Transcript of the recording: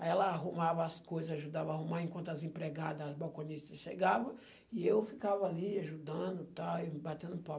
Aí ela arrumava as coisas, ajudava a arrumar, enquanto as empregada, as balconistas chegavam, e eu ficava ali ajudando, batendo